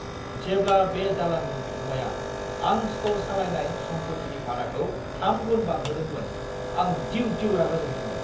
जेब्ला बे दालाननि बिगुमाया आं स्ट'र सालायनाय सम्पतिनि भाराखौ थाम गुन बांहोदोंमोन, आं दिउ-दिउ रागा जोंदोंमोन!